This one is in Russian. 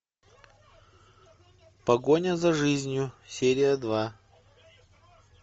погоня за жизнью серия два